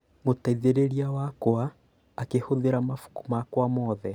Mũteithĩrĩria wakwa akĩhũthĩra mabuku makwa mothe